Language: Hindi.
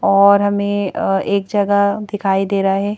और हमें अअएक जगह दिखाई दे रहा है।